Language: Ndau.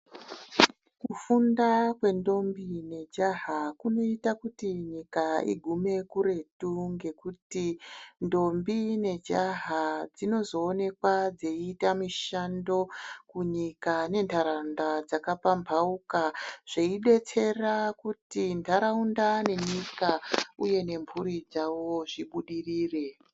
Kufunda kwendombi nejaha kunoita kuti nyika igume kuretu nekuti ndombi nejaha dzinozoonekwa dzichiita mishando kunyika nentaraunda dzakapampauka zveidetsera kuti ntaraunda nenyika uye nemhuri dzavo zvibudirire.